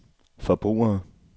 forbrugere